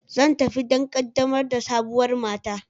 Zan tafi don ƙaddamar da sabuwar mata.